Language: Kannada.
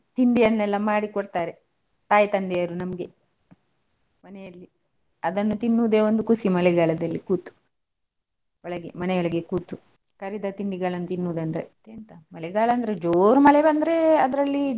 ತಿಂಡಿಯನ್ನೆಲ್ಲ ಮಾಡಿಕೊಡ್ತಾರೆ ತಾಯಿ ತಂದೆಯರು ನಮ್ಗೆ ಮನೆಯಲ್ಲಿ ಅದನ್ನು ತಿನ್ನುದೇ ಒಂದು ಖುಷಿ ಮಳೆಗಾಲದಲ್ಲಿ ಕೂತು. ಒಳಗೆ ಮನೆ ಒಳಗೆ ಕೂತು ಕರಿದ ತಿಂಡಿಗಳನ್ನು ತಿನ್ನುದು ಅಂದ್ರೆ ಮತ್ತೆ ಎಂಥ ಮಳೆಗಾಲ ಅಂದ್ರೆ ಜೋರ್ ಮಳೆ ಬಂದ್ರೆ ಅದ್ರಲ್ಲಿ.